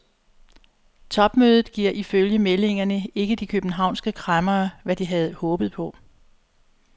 Topmødet giver ifølge meldingerne ikke de københavnske kræmmere, hvad de havde håbet på.